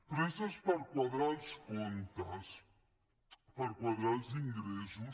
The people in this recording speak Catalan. presses per quadrar els comptes per quadrar els ingressos